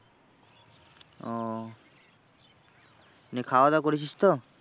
ও নিয়ে খাওয়া দাওয়া করেছিস তো?